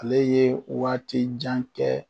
Ale ye waati jan kɛ